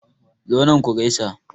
Zo nan ku gaisa.